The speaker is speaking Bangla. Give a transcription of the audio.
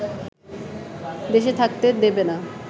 দেশে থাকতে দেবে না